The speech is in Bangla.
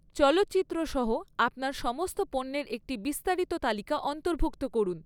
চলচ্চিত্র সহ আপনার সমস্ত পণ্যের একটি বিস্তারিত তালিকা অন্তর্ভুক্ত করুন।